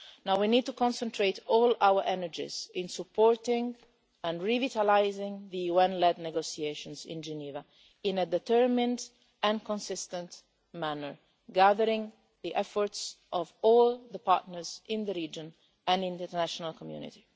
We need to concentrate all our energies in supporting and revitalising the UN-led negotiations in Geneva in a determined and consistent manner, gathering the efforts of all the partners in the region and the international community.